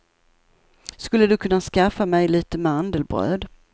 Skulle du kunna skaffa mig lite mandelbröd.